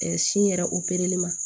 sin yɛrɛ opereli ma